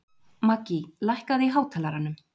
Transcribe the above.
Maggý, lækkaðu í hátalaranum.